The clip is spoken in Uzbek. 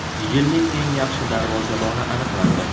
Yilning eng yaxshi darvozaboni aniqlandi.